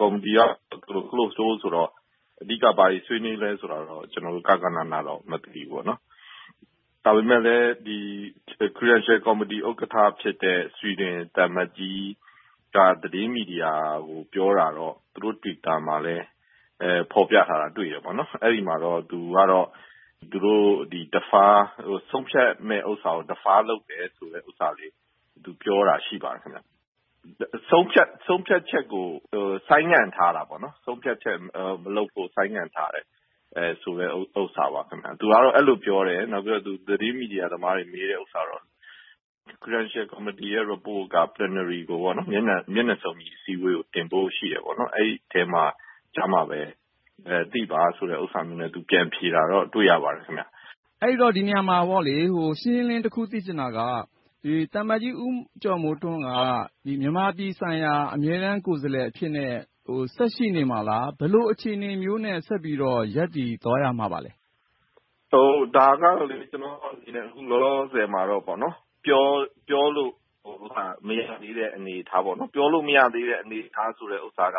ကော်မတီက Closed Door ဆိုတော့ အဓိက ဘာတွေဆွေးနွေးသလဲဆိုတာကိုတော့ ကျနော်တို့ ဂဃနဏ တော့ မသိပါဘူး။ ဒါပေမဲ့လဲ Credential Committee ဥက္ကဋ္ဌ ဖြစ်တဲ့ ဆွီဒင်သံအမတ်ကြီးက သတင်းမီဒီယာကို ပြောတာတော့ သူတို့ Twitter မှာလည်း ဖော်ပြထားတာကိုတွေ့တယ်။ အဲဒီမှာတော့ သူတို့ ဆုံးဖြတ်မယ့်ဟာကို Defer လုပ်ထားတယ်ဆိုတာကို သူပြောတာ ရှိပါတယ်။ ဆုံးဖြတ်ချက်ကို ဆိုင်းငံ့ထားတာပေါ့။ ဆုံးဖြတ်ချက်မလုပ်ဖို့ ဆိုင်းငံ့ထားတယ်ဆိုတဲ့ဟာပါ။ သူကတော့ အဲဒီလိုပြောတယ်။ နောက်ပြီးတော့ သတင်းမီဒီယာသမားတွေ မေးတဲ့ဥစ္စာကတော့ Credential Committee ရဲ့ Report ကတော့ ဇန်နဝါရီ မျက်နှာစုံညီ အစည်းအဝေးကို တင်ဖို့ရှိတယ်။ အဲဒီအထဲမှာ အဲဒီအခါကျမှ သိပါဆိုတာမျိုးနဲ့ ပြန်ဖြေတာကိုတော့ တွေ့ရပါတယ်။ အဲဒီတော့ ဒီနေရာမှာ ရှင်းရှင်းလင်းလင်း တခုသိချင်တာက သံအမတ်ကြီး ဦးကျော်မိုးထွန်းက မြန်မာပြည်ဆိုင်ရာ အမြဲတမ်းကိုယ်စားလှယ် အဖြစ်နဲ့ ဆက်ရှိနေမှာလား။ ဘယ်လိုအခြေအနေမျိုးနဲ့ ဆက်ပြီးတော့ ရပ်တည်သွားမလဲ။ ဒါကတော့ ကျနော့်အနေနဲ့ အခုလောလောဆယ်မှာတော့ ပြောလို့မရသေးတဲ့ အနေအထား။ ပြောလို့မရသေးတဲ့ဟာက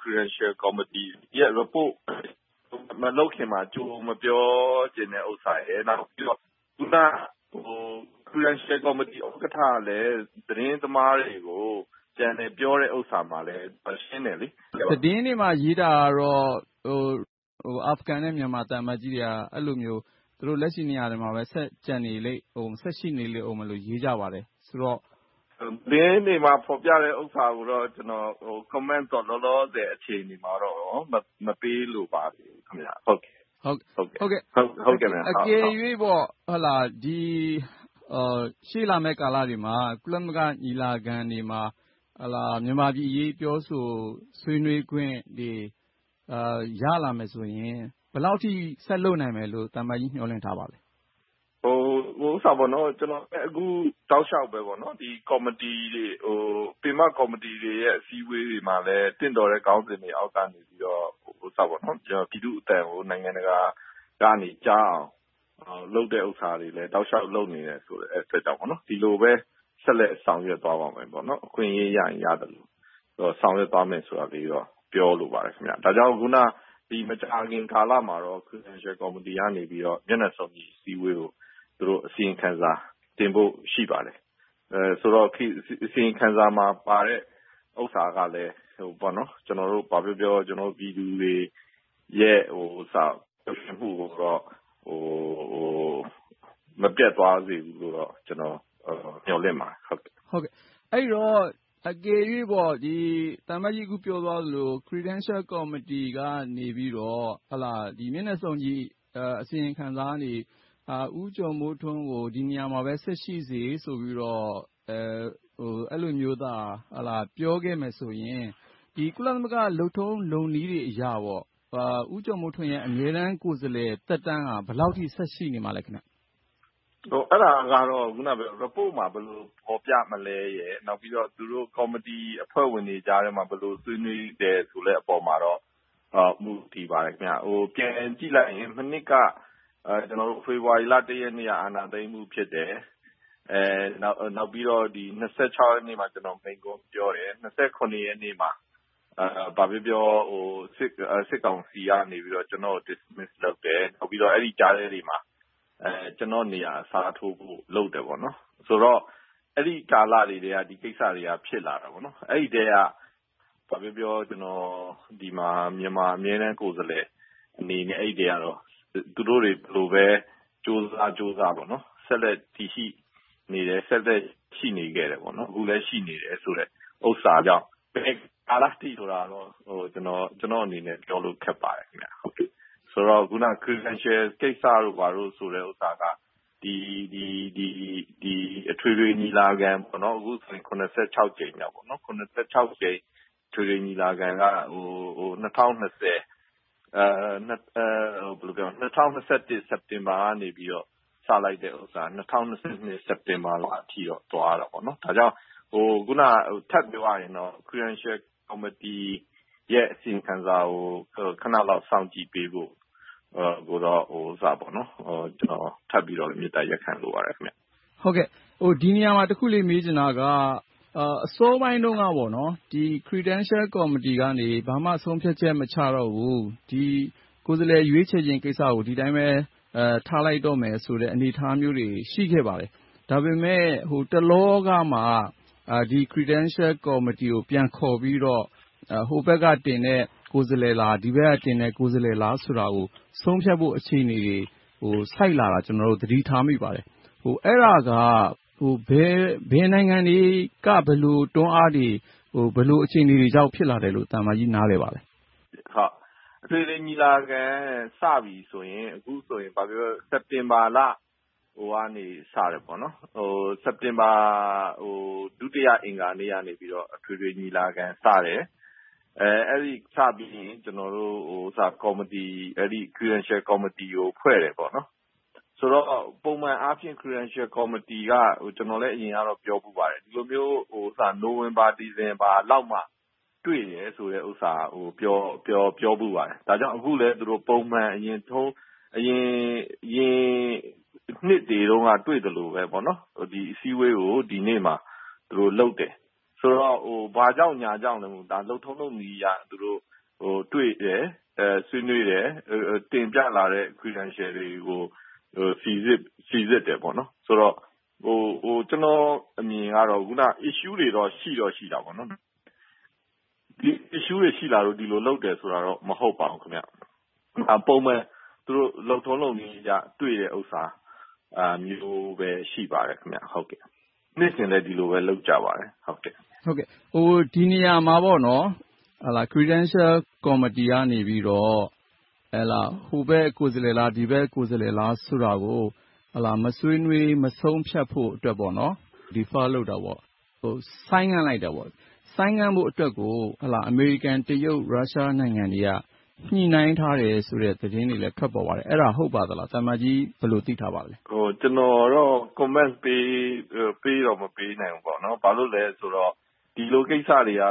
Credential Committee ရဲ့ Report မလုပ်ခင်မှာ ကြိုမပြောချင်တဲ့ဥစ္စာရယ်၊ နောက်တခုက အခုန Credential Committee ဥက္ကဋ္ဌလည်း သတင်းသမားတွေကို ပြန်လည်ပြောတဲ့ဥစ္စာမှာလည်း ရှင်းတယ်။ သတင်းတွေမှာ ရေးထားတာကတော့ အာဖရိဂန်နဲ့ မြန်မာသံအမတ်ကြီးတွေက အဲဒီလိုမျိုး လက်ရှိနေရာတွေမှာပဲ ဆက်ကျန်ရှိနေအုံးမယ်လို့ ရေးကြပါတယ်ဆိုတော့။ သတင်းတွေမှာ ဖော်ပြတဲ့ ဥစ္စာတွေကိုတော့ Comment တော့ အခုလောလောဆယ်မှာတော့၊ အချိန်မှာတော့ မပေးလိုပါသေးပါဘူး။ အကယ်၍ ရှေ့လာမယ့်ကာလတွေမှာ ကုလသမဂ္ဂညီလာခံတွေမှာ မြန်မာပြည်အရေး ပြောဆိုဆွေးနွေးခွင့်တွေ ရလာမယ်ဆိုရင် ဘယ်လောက်အထိ ဆက်လုပ်နိုင်မယ်လို့ သံအမတ်ကြီး မျှော်လင့်ထားပါသလဲ။ ကျနော် အခုတောက်လျှောက်ပဲ ပင်မကော်မတီတွေ အစည်းအဝေးတွေမှာလည်း သင့်တော်တဲ့ ခေါင်းစဉ်တွေအောက်ကနေပြီး ပြည်သူ့အသံကို နိုင်ငံတကာကနေ ကြားအောင် လုပ်တဲ့ဟာတွေလဲ လုပ်နေတယ်ဆိုတာကို ဆက်လက်ဆောင်ရွက်သွားပါမယ်။ အခွင့်ရေးရရင် ရသလို၊ ဆောင်ရွက်သွားမယ်လို့ ပြောလိုပါတယ်။ ဒါကြောင့် အခုန မကြာခင်ကာလမှာတော့ Credential Committee ကတော့ မျက်နှာစုံညီ အစည်းအဝေးကို အစီရင်ခံစာတင်ဖို့ ရှိပါတယ်။ ဆိုတော့ အစီရင်ခံစာမှာပါတဲ့ ဥစ္စာကလည်း ကျနော်တို့ ဘာပြောပြော ပြည်သူတွေရဲ့ ပျော်ရွှင်မှုကိုတော့ မပျက်သွားစေဘူးလိုတော့ ကျနော် မျှော်လင့်ပါတယ်။ အဲဒီတော့ အကယ်၍ သံအမတ်ကြီး အခုပြောသွားသလို၊ Credential Committee ကနေပြီးတော့ မျက်နှာစုံညီအစီရင်ခံစာနေ ဦးကျော်မိုးထွန်းကို ဒီနေရာမှာပဲ ဆက်ပြီးတော့ အဲဒီလိုမျိုးသာ ပြောခဲ့မယ်ဆိုရင် ဒီ ကုလသမဂ္ဂ လုပ်ထုံးလုပ်နည်းအရ ဦးကျော်မိုးထွန်းရဲ့ အမြဲတမ်းကိုယ်စားလှယ် သက်တမ်းက ဘယ်လောက်အထိ ဆက်ရှိနေမှာလဲ။ အဲဒါကတော့ Report မှာ ဘယ်လိုဖော်ပြမလဲရယ်။ နောက်ပြီးတော သူတို့ကော်မတီအဖွဲ့ဝင်တွေကြားထဲမှာ ဘယ်လိုဆွေးနွေးမလဲဆိုတဲ့ အပေါ်မှာတော့ မူတည်ပါတယ်။ ပြန်ကြည့်လိုက်ရင် မနှစ်က ဖေဖေါ်ဝါရီလ ရက်နေ့က အာဏာသိမ်းမှု ဖြစ်တယ်။ နောက်ပြီးတော့ ရက်နေ့မှာ ကျနော် မိန့်ခွန်းပြောတယ်။ ရက်နေ့မှာ ဘာပဲပြောပြော စစ်ကောင်စီကနေ ကျနော့်ကို Dismiss လုပ်တယ်။ နောက်ပြီးတော့ ဒီကြားထဲမှာ ကျနော့်နေရာအစားထိုးဖို့ လုပ်တယ်။ ဆိုတော့ အဲဒီကာလတွေကတည်းက ဒီကိစ္စတွေက ဖြစ်လာတယ်။ အဲဒီထဲက ဘာပဲပြောပြော ကျနော် ဒီမှာ မြန်မာအမြဲတမ်းကိုယ်စားလှယ်အနေနဲ့ အဲဒီထဲက သူတို့တွေ ဘယ်လိုပဲကြိုးစားကြိုးစား ဆက်လက်တည်ရှိနေတယ်။ ဆက်လက်ရှိနေခဲ့တယ်။ အခုလည်း ရှိနေတယ်ဆိုတဲ့ဥစ္စာကြောင့် ဘယ်ကာလအထိလဲဆိုတာတော့ ကျနော့်အနေနဲ့ ခက်ပါတယ်။ ဆိုတော့ အခုန Credential ကိစ္စတို့ ဘာတို့ဆိုတဲ့ကိစ္စက အထွေထွေညီလာခံ - အခုဆိုရင် ကြိမ်မြောက် အထွေထွေညီလာခံက ၂၀၂၁ စက်တင်ဘာကနေ စလိုက်တာ ၂၀၂၂ စက်တင်ဘာလလောက်အထိ သွားတယ်။ ဒါကြောင့် ထပ်ပြောရရင်တော့ Credential Committee ရဲ့ အစီရင်ခံစာကို ခဏလောက် စောင့်ကြည့်ပေးဖို့ ကျနော် ထပ်ပြီးတော့ မေတ္တာရပ်ခံလိုပါတယ်။ ဒီနေရာမှာ တခုလေး မေးချင်တာက အစောပိုင်းတုန်းက Credential Committee ကနေ ဘာမှ ဆုံးဖြတ်ချက် မချတော့ဘူး၊ ဒီကိုယ်စားလှယ် ရွေးချယ်ခြင်းကိစ္စကို ဒီအတိုင်းပဲ ထားလိုက်တော့မယ်ဆိုတဲ့ အနေအထားမျိုးတွေ ရှိခဲ့ပါတယ်။ ဒါပေမဲ့ တလောကမှ Credential Committee ကို ပြန်ခေါ်ပြီးတော့ ဟိုးဘက်ကတင်တဲ့ ကိုယ်စားလှယ်လား။ ဒီဘက်ကင်တဲ့ ကိုယ်စားလှယ်လား ဆိုတာကို ဆုံးဖြတ်ဖို့ အခြေအနေကို ဆိုက်လာတာကို ကျနော်တို့ သတိထားမိပါတယ်။ အဲဒါက ဘယ်နိုင်ငံတွေက ဘယ်လိုတွန်းအားတွေ၊ ဘယ်လိုအခြေအနေတွေကြောင့် ဖြစ်လာတယ်လို့ သံအမတ်ကြီး ပြောနိုင်ပါသလဲ။ အထွေထွေညီလာခံ စပြီဆိုရင် အခုဆိုရင် ဘာပဲပြောပြော စက်တင်ဘာလနေ စတယ်။ စက်တင်ဘာ ဒုတိယအင်္ဂါနေ့ကနေ အထွေထွေညီလာခံ စတယ်။ အဲဒီလိုစပြီးရင် ကျနော်တို့ Credential Committee ကို ဖွဲ့စည်းတယ်။ ဆိုတော့ ပုံမှန်အားဖြင့် Credential Committee က ကျနော် အရင်ကတော့ ပြောဖူးပါတယ်။ ဒီလိုမျိုး နိုဝင်ဘာ၊ ဒီဇင်ဘာလလောက်မှာမှ တွေ့တယ်ဆိုတာကို ပြောဖူးပါတယ်။ အခုလဲ သူတို့ ပုံမှန် အရင်နှစ်တွေတုန်းက တွေ့သလိုပဲ၊ ဒီအစည်းအဝေးကို ဒီနေ့မှာ သူတို့လုပ်တယ်။ ဆိုတော့ ဘာကြောင့်ညာကြောင့် မဟုတ်ဘဲ၊ လုပ်ထုံးလုပ်နည်းအရ တွေ့တယ်၊ ဆွေးနွေးတယ်၊ တင်ပြလာတဲ့ Credentials တွေကို စီစစ်တယ်။ ဆိုတော့ ကျနော့်အမြင်ကတော့ Issues တွေတော့ ရှိတော့ရှိတာပေါ့။ Issues တွေ ရှိလာလို့ ဒီလိုလုပ်တယ်ဆိုတာတော့ မဟုတ်ပါဘူး။ ပုံမှန်လုပ်ထုံးလုပ်နည်းအရ တွေ့တယ်ဥစ္စာမျိုးပဲ ဖြစ်ပါတယ်။ နှစ်စဉ်လည်း ဒီလိုပဲ လုပ်ကြပါတယ်။ ဒီနေရာမှာ Credential Committee ကနေ ဟိုဘက်ကိုယ်စားလှယ်လား၊ ဒီဘက်ကိုယ်စားလှယ်လား ဆိုတာကို မဆွေးနွေး၊ မဆုံးဖြတ်ဖို့ Defer လုပ်တာ၊ ဆိုင်းငံ့လိုက်တာ။ ဆိုင်းငံ့ဖို့အတွက်ကို အမေရိကန်၊ တရုတ်၊ ရုရှားနိုင်ငံတွေက ညှိနှိုင်းထားတယ်ဆိုတဲ့ သတင်းတွေလည်း ထွက်ပေါ်ပါတယ်။ အဲဒါ ဟုတ်ပါသလား။ သံအမတ်ကြီး ဘယ်လို သိထားပါသလဲ။ ကျနော်ကတော့ Comment တော့ မပေးနိုင်ဘူး။ ဘာကြောင့်လဲဆိုတော့ ဒီလိုကိစ္စတွေက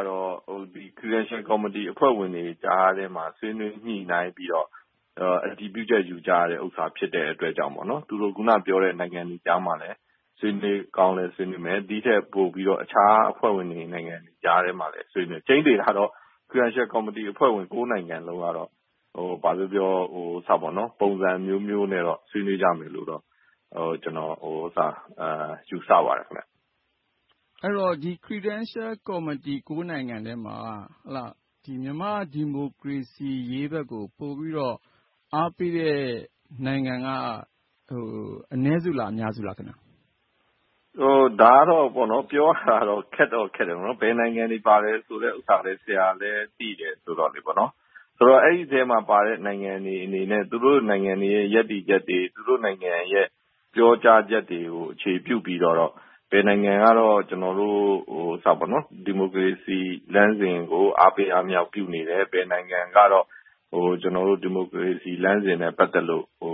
Credential Committee အဖွဲ့ဝင်တွေကြားထဲမှာ ဆွေးနွေးညှိနှိုင်းပြီးတော့ အတည်ပြုချက်ယူကြတဲ့ဟာ ဖြစ်တဲ့အတွက်ကြောင့် သူတို့ အခုနပြောတဲ့ နိုင်ငံတွေကြားမှာလည်း ဆွေးနွေးကောင်းလည်း ဆွေးနွေးမယ်။ ဒီထက်ပိုပြီးတော့လည်း အခြားအဖွဲ့ဝင်နိုင်ငံတွေကြားထဲမှာလည်း ဆွေးနွေးဖြစ်တယ်။ ကြိမ်းသေတာကတော့ Credential Committee အဖွဲ့ဝင် နိုင်ငံလုံးကတော့ ဘာပဲပြောပြော ပုံစံအမျိုးမျိုးနဲ့တော့ ဆွေးနွေးကြမယ်လို့တော့ ကျနော် ယူဆပါတယ်။ အဲဒီတော့ Credential Committee အဖွဲ့ဝင် နိုင်ငံထဲမှာ မြန်မာ့ဒီမိုကရေစီရေးဘက်ကို ပိုပြီးတော့ အားပေးတဲ့နိုင်ငံက အနည်းစုလား၊ အများစုလား။ ဒါကတော့ ပြောရတာတော့ ခက်တော့ခက်တယ်။ ဘယ်နိုင်ငံတွေပါတယ်ဆိုတဲ့ဟာလည်း ဆရာလည်း သိတယ်ဆိုတော့ ဆိုတော့ အဲဒီထဲမှာပါတဲ့ နိုင်ငံတွေအနေနဲ့ သူတို့နိုင်ငံတွေရဲ့ ရပ်တည်ချက်တွေ၊ သူတို့နိုင်ငံတွေရဲ့ ပြောကြားချက်တွေကို အခြေပြုပြီးတော့ ဘယ်နိုင်ငံကတော့ ကျနော်တို့ ဒီမိုကရေစီလမ်းစဉ်ကို အားပေးအားမြှောက်ပြုနေတဲ့ ဘယ်နိုင်ငံကတော့ ကျနော်တို့ ဒီမိုကရေစီလမ်းစဉ်နဲ့ ပတ်သက်လို့ ဒီ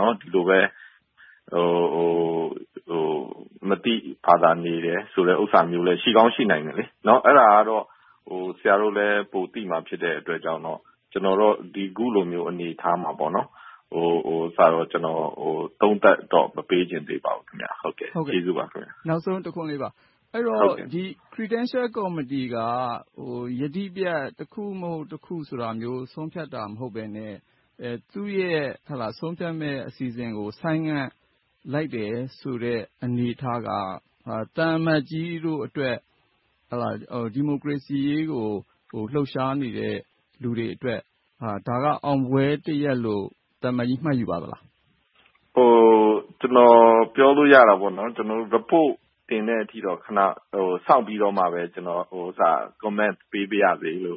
လိုပဲ မသိဘာသာနေတယ်ဆိုတဲ့ ဥစ္စာမျိုးလည်း ရှိကောင်းရှိနိုင်တယ်။ အဲဒါကတော့ ဆရာတို့လည်း ပိုသိမှာ ဖြစ်တဲ့အတွက်ကြောင့် ကျနော်တော့ အခုလို အနေအထားမှာ သုံးသပ်တော့ မပေးချင်သေးပါဘူး။ ကျေးဇူးပါ။ နောက်ဆုံးတခွန်းလေးပါ။ အဲဒီတော့ Credential Committee က ယတိပြတ်၊ တခုမဟုတ်တခု ဆိုတာမျိုး ဆုံးဖြတ်တာ မဟုတ်ဘဲနဲ့ သူ့ရဲ့ ဆုံးဖြတ်မယ့်အစီအစဉ်ကို ဆိုင်းငံ့လိုက်တယ်ဆိုတဲ့ အနေအထားက သံအမတ်ကြီးတို့အတွက် ဒီမိုကရေစီရေးကို လှုပ်ရှားနေတဲ့ လူတွေအတွက် ဒါက အောင်ပွဲတရပ်လို့ သံအမတ်ကြီး မှတ်ယူပါသလား။ ကျနော် ပြောလို့ရတာက Report တင်တဲ့အထိတော့ ခဏစောင့်ပြီးတော့မှပဲ ကျနော် Comment ပေးပါရစေလို့